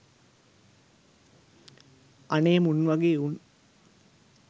අනේ මුන් වගේ උන්